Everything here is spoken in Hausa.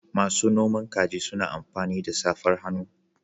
Masu noman kaji suna amfani da safar hannu.